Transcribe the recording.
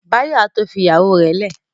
Báyọ̀ á tó fi ìyàwó rẹ̀ lẹ̀